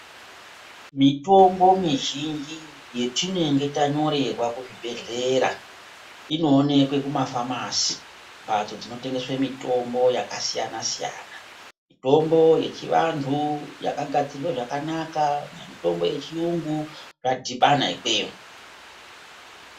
Mitombo mizhinji yetinenge tanyorerwa kuzvibhedhlera inooneka kumafamasi mbatso dzinotengeswe mitombo yakasiyana-siyana. Mitombo yechivantu yakagadzirwa zvakanaka nemitombo yechiyungu yakadhibana ikweyo.